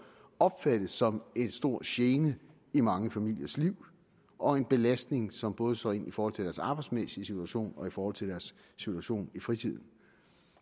opfattes som en stor gene i mange familiers liv og en belastning som både slår ind i forhold til deres arbejdsmæssige situation og i forhold til deres situation i fritiden